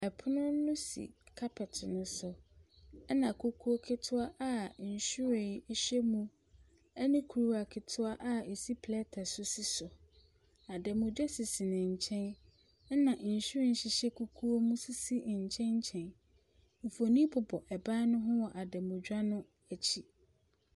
Pono no si carpet ne so, ɛna kuku ketewa a nhyiren hyɛ mu ɛne kuruwa ketewa a ɛsi plɛɛte so si so, adanmutwa sisi ne nkyɛn, ɛna nhyiren hyehyɛ kukuo mu sisi ne nkyɛnkyɛn. Mfonini bobɔ ban no ho wɔ adanmutwa no akyi.